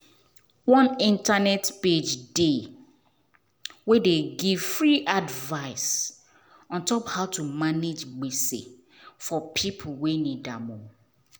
one internet page dey wey dey give free advice ontop how to manage gbese for people wey need am.